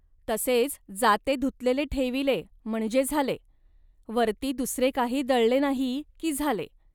तसेच जाते धुतलेले ठेविले, म्हणजे झाले. वरती दुसरे काही दळले नाही, की झाले